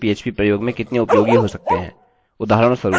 उदाहरणस्वरूप प्रारूप कोई भी भर सकता है आप इसके लिए कई दूसरे प्रयोगकर्ता पाएँगे